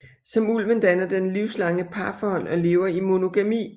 Som ulven danner den livslange parforhold og lever i monogami